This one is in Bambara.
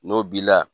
N'o b'i la